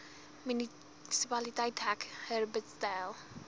munisipaliteit dek herbertsdale